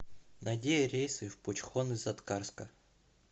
найди рейсы в пучхон из аткарска